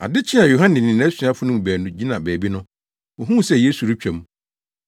Ade kyee a Yohane ne nʼasuafo no mu baanu gyina baabi no, wohuu sɛ Yesu retwa mu.